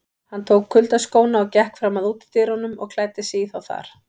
Hann tók kuyldaskóna og gekk fram að útidyrunum og klæddi sig í þá þar.